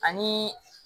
Ani